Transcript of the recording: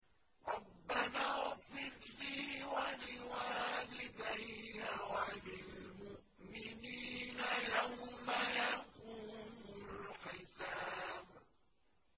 رَبَّنَا اغْفِرْ لِي وَلِوَالِدَيَّ وَلِلْمُؤْمِنِينَ يَوْمَ يَقُومُ الْحِسَابُ